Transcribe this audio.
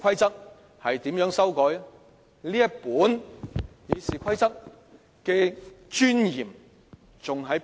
這本《議事規則》的尊嚴何在？